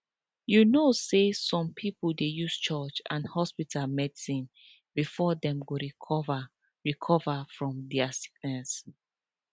you know say some pipo dey use church and hospital medicine before dem go recover recover from de sickness